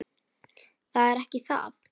Það er ekki það.